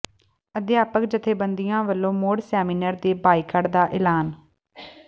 ਅਧਿਆਪਕ ਜਥੇਬੰਦੀਆਂ ਵੱਲੋਂ ਮੁੜ ਸੈਮੀਨਾਰ ਦੇ ਬਾਈਕਾਟ ਦਾ ਐਲਾਨ